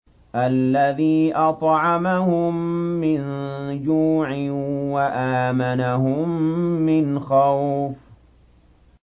الَّذِي أَطْعَمَهُم مِّن جُوعٍ وَآمَنَهُم مِّنْ خَوْفٍ